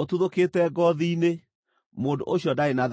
ũtuthũkĩte ngoothi-inĩ; mũndũ ũcio ndarĩ na thaahu.